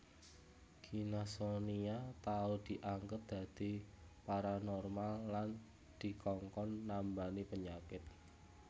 Gina Sonia tau dianggep dadi paranormal lan dikongkon nambani penyakit